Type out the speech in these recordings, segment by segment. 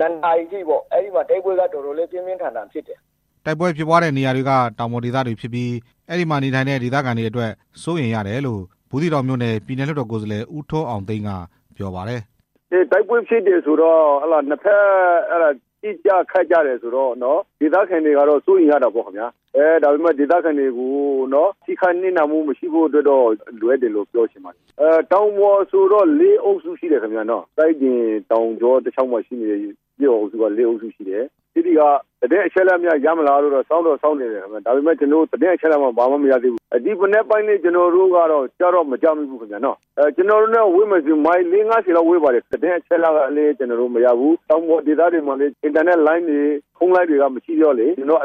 ၂ နာရီထိ တိုက်ပွဲ ကပြင်းပြင်းထန်ထန်ဖြစ်တယ်" တိုက်ပွဲဖြစ်ပွားတဲ့နေရာတွေက တောင်ပေါ်ဒေသဖြစ်ပြီး အဲဒီမှာနေထိုင်တဲ့ ဒေသခံတွေအတွက် စိုးရိမ်ရတယ်လို့ ဘူးသီးတောင်မြို့နယ် ပြည်နယ်လွှတ်တော် ကိုယ်စားလှယ် ဦးထွန်းအောင်သိန်းက ပြောပါတယ်။ "တိုက်ပွဲဖြစ်တယ်ဆိုတော့ နှစ်ဖက်ပစ်ကြခတ်ကြတယ်ဆိုတော့ ဒေသခံတွေကတော့ စိုးရိမ်ရတာပေါ့၊ ဒေသခံတွေကို ထိခိုက်နစ်နာမှု မရှိဖို့လိုအပ်တာပေါ့၊ တောင်ပေါ်ဆိုတော့ ကျေးရွာအုပ်စု ၄ အုပ်စုရှိတယ်၊ စိုင်းပြင်တောင်ကြောတလျှောက်မှာပေါ့၊ အဲဒီက သတင်းအချက်အလက်များရမလားလို့ စောင့်တော့စောင့်နေတယ် ဒါပေမဲ့ ဘာမှမရသေးဘူး၊ ဒီမနက်ပိုင်းလည်း မကြားမိသေးဘူး၊ မိုင် လေးငါးဆယ်လောက်ဝေးပါတယ်၊ တောင်ပေါ်ဒေသတွေဆိုတော့ အင်တာနက်လိုင်းတွေ ဖုန်းလိုင်းတွေက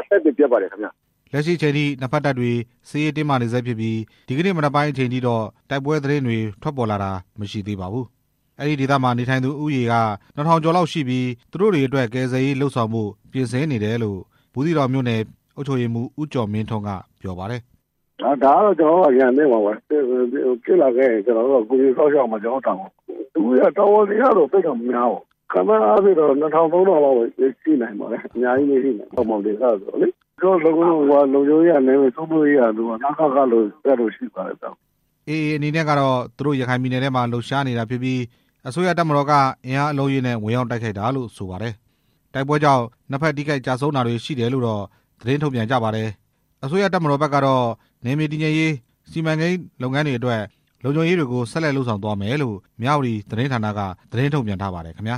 အဆက်အသွယ်ပျက်ပါတယ်ခင်ဗျ" လက်ရှိအချိန်ထိ နှစ်ဖက်တပ်တွေက စစ်ရေးတင်းမာနေဆဲဖြစ်ပြီး ဒီကနေ့မနက်ပိုင်းအချိန်ထိ မြေပြင်တိုက်ပွဲ သတင်းတွေကတော့ ထွက်ပေါ်လာတာ မရှိသေးပါဘူး။ အဲဒီဒေသမှာနေထိုင်သူဦးရေ နှစ်ထောင်ကျော်လောက်ရှိကြပြီး သူတို့တွေအတွက် ကယ်ဆယ်ရေးလုပ်ဆောင်ဖို့ ဖြစ်နေတယ်လို့ ဘူးသီးတောင်မြို့နယ် အုပ်ချုပ်ရေးမှူး ဦးကျော်မင်းထွန်းက ပြောပါတယ်။ "ဒါကတော့ ကျနော်တို့က အရန်သင့်ပဲပေါ့၊ ဖြစ်လာခဲ့ရင် ကူညီစောင့်ရှောက်ရမှာ ကျနော်တို့ရဲ့ တာဝန်၊ လူတွေက တောင်ပေါ်ဒေသဆိုတော့ သိပ်တော့မများပါဘူး၊ ခန့်မှန်းအားဖြစ့်တော့ ၂ ထောင် ၃ ထောင်လောက်တော့ ရှိနိုင်ပါတယ်၊ ကျနော်တို့ လုံခြုံရေးကတော့ နယ်မြေစိုးမိုးရေးကတော့ စိတ်ချရပါတယ် န စ က တို့၊ တပ် တို့ရှိပါတယ်" AA အနေနဲ့ကတော့ သူတို့ရခိုင်ပြည်နယ်ထဲမှာ လှုပ်ရှားနေတာဖြစ်ပြီး အစိုးရတပ်မတော်က အင်အားအလုံးအရင်းနဲ့ ဝင်ရောက်တိုက်ခိုက်တာလို့ ဆိုပါတယ်။ တိုက်ပွဲကြောင့် နှစ်ဖက်ထိခိုက်ကျဆုံးတာတွေရှိတယ်လို့တော့ သတင်းထုတ်ပြန်ကြပါတယ်။ အစိုးရတပ်မတော်ဖက်ကတော့ နယ်မြေတည်ငြိမ်ရေး၊ စီမံကိန်းတွေလုပ်ငန်းတွေအတွက် လုံခြုံရေးတွေကို ဆက်လက်လုပ်ဆောင်သွားမယ်လို့ မြဝတီသတင်းဌာနက သတင်းထုတ်ပြန်ထားပါတယ် ခင်ဗျာ